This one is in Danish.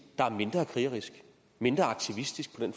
der er mindre krigerisk mindre aktivistisk på den